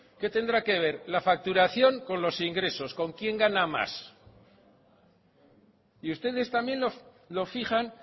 qué tendrá que ver la facturación con los ingresos con quién gana más y ustedes también lo fijan